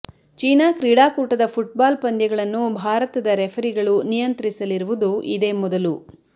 China ಕ್ರೀಡಾಕೂಟದ football ಪಂದ್ಯಗಳನ್ನು ಭಾರತದ ರೆಫರಿಗಳು ನಿಯಂತ್ರಿಸಲಿರುವುದು ಇದೇ ಮೊದಲು